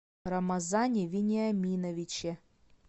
рамазане вениаминовиче